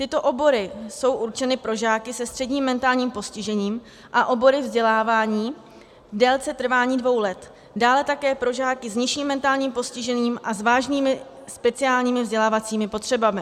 Tyto obory jsou určeny pro žáky se středním mentálním postižením a obory vzdělávání v délce trvání dvou let, dále také pro žáky s nižším mentálním postižením a s vážnými speciálními vzdělávacími potřebami.